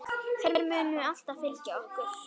Þær munu alltaf fylgja okkur.